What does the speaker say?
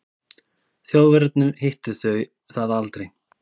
Þjóðverjarnir hittu það aldrei.